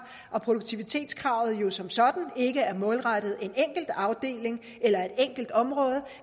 og produktivitetskravet er jo som sådan ikke målrettet en enkelt afdeling eller et enkelt område